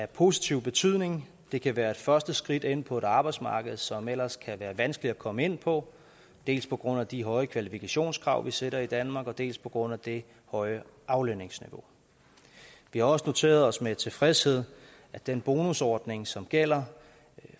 positiv betydning det kan være et første skridt ind på et arbejdsmarked som ellers kan være vanskeligt at komme ind på dels på grund af de høje kvalifikationskrav vi sætter i danmark dels på grund af det høje aflønningsniveau vi har også noteret os med tilfredshed at den bonusordning som gælder